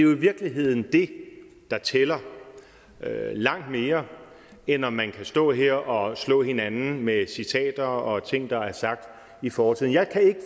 virkeligheden det der tæller langt mere end om man kan stå her og slå hinanden med citater og ting der er sagt i fortiden jeg kan